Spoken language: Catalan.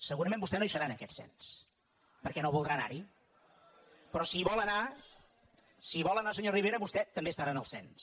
segurament vostè no hi serà en aquest cens perquè no voldrà anar hi però si hi vol anar si hi vol anar senyor rivera vostè estarà en el cens